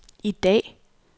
i dag